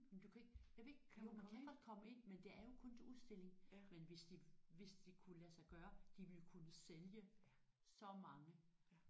Men du kan ikke jeg ved ikke jo man kan godt komme ind men det er kun til udstilling men hvis de hvis det kunne lade sig gøre de ville kunne sælge så mange